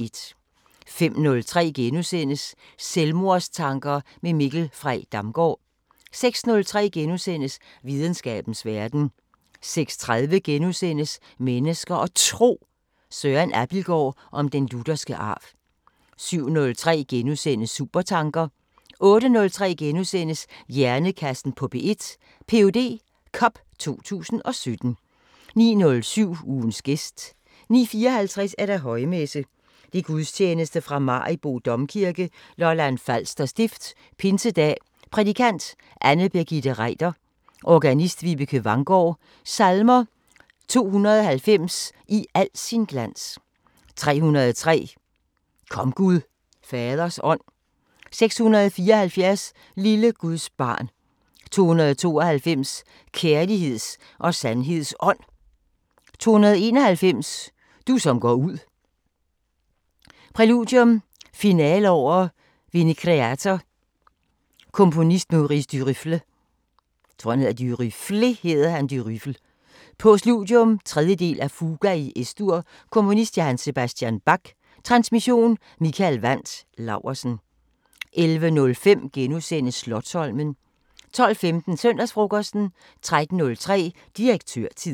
05:03: Selvmordstanker med Mikkel Frey Damgaard * 06:03: Videnskabens Verden * 06:30: Mennesker og Tro: Søren Abildgaard om den lutherske arv * 07:03: Supertanker * 08:03: Hjernekassen på P1: Ph.D. Cup 2017 * 09:07: Ugens gæst 09:54: Højmesse - Gudstjeneste fra Maribo Domkirke, Lolland Falser Stift. Pinsedag. Prædikant: Anne Birgitte Reiter. Organist: Vibeke Vanggaard. Salmer: 290: "I al sin glans" 303: "Kom Gud Faders Ånd" 674: "Lille Guds barn" 292: "Kærligheds og sandheds Ånd" 291: "Du som går ud" Præludium: Finale over " Venicreator" Komponist: Maurice Durufle. Postludium: 3. del af Fuga i Es-dur Komponist: J.S. Bach. Transmission: Mikael Wandt Laursen. 11:05: Slotsholmen * 12:15: Søndagsfrokosten 13:03: Direktørtid